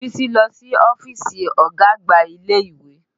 Bísí lọ sí ọ́fíìsì ọ̀gá àgbà ilé ìwé